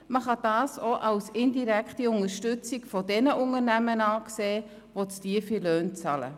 Man kann das auch als indirekte Unterstützung von denjenigen Unternehmen betrachten, die zu tiefe Löhne bezahlen.